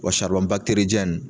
Wa saribɔn bakiteridiyɛni